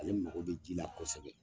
Ale mako bɛ ji la kosɛbɛ